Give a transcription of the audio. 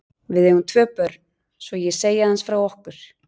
Við eigum tvö börn, svo ég segi aðeins frá okkur.